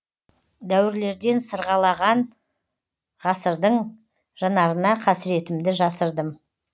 дәуірлерден сырғалаған ғасырдың жанарына қасіретімді жасырдым